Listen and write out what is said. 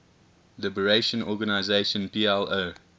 liberation organization plo